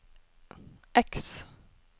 X